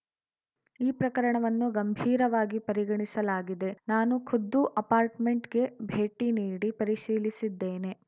ಈ ಪ್ರಕರಣವನ್ನು ಗಂಭೀರವಾಗಿ ಪರಿಗಣಿಸಲಾಗಿದೆ ನಾನು ಖುದ್ದು ಅಪಾರ್ಟ್‌ಮೆಂಟ್‌ಗೆ ಭೇಟಿ ನೀಡಿ ಪರಿಶೀಲಿಸಿದ್ದೇನೆ